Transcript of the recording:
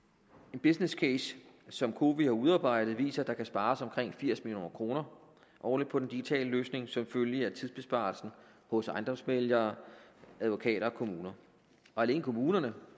en businesscase som cowi har udarbejdet viser at der kan spares omkring firs million kroner årligt på den digitale løsning som følge af tidsbesparelsen hos ejendomsmæglere advokater og kommuner og alene kommunerne